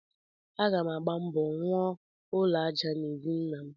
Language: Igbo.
Aga m agba mbọ rụọ ụlọ aja n'ezi nnam.